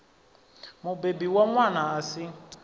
mubebi wa ṅwana a si